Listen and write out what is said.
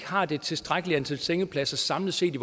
har det tilstrækkelige antal sengepladser samlet set i